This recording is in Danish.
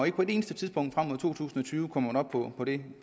ikke på et eneste tidspunkt frem mod to tusind og tyve kommer op på det